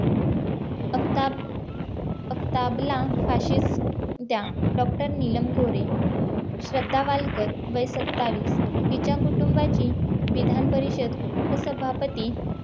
आफताबला फाशी द्या डॉक्टर नीलम गोरे श्रद्धा वालकर वय सत्तावीस तिच्या कुटुंबाची विधानपरिषद उपसभापती